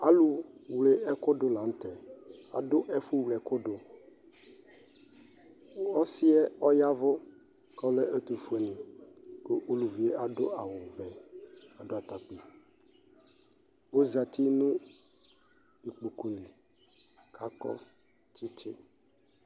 Alʋ wle ɛkʋ dʋ la nʋ tɛ Adʋ ɛfʋwle ɛkʋ dʋƆsi yɛ ɔyavʋ, kʋ ɔlɛ ɛtʋfue ni kʋ uluvi adʋ awʋ vɛ, adʋ atakpui Ozati nʋ ikpokʋ li kakɔ tsitsi